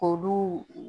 Olu